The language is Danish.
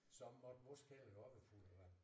Så måtte vores kælder jo også være fuld af vand